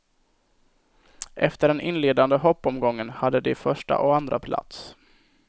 Efter den inledande hoppomgången hade de första och andra plats.